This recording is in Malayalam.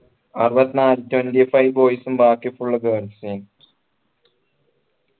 അറുപത്തിനാല് twenty five boys ഉം ബാക്കി girls ഉം